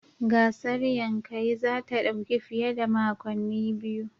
Gasar Yankayi za ta dauki fiye da makonni biyu